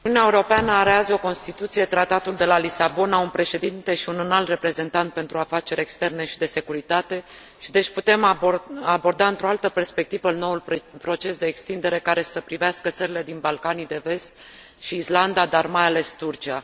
Uniunea Europeană are azi o constituție Tratatul de la Lisabona un Președinte și un Înalt Reprezentant pentru Afaceri Externe și de Securitate și, deci, putem aborda într o altă perspectivă noul proces de extindere care să privească țările din Balcanii de Vest și Islanda, dar mai ales Turcia.